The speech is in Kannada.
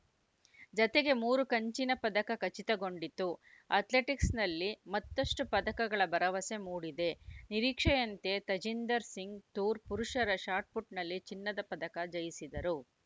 ಜತೆಗೆ ಮೂರು ಕಂಚಿನ ಪದಕ ಖಚಿತಗೊಂಡಿತು ಅಥ್ಲೆಟಿಕ್ಸ್‌ನಲ್ಲಿ ಮತ್ತಷ್ಟುಪದಕಗಳ ಭರವಸೆ ಮೂಡಿದೆ ನಿರೀಕ್ಷೆಯಂತೆ ತಜೀಂದರ್‌ ಸಿಂಗ್‌ ತೂರ್‌ ಪುರುಷರ ಶಾಟ್‌ಪುಟ್‌ನಲ್ಲಿ ಚಿನ್ನದ ಪದಕ ಜಯಿಸಿದರು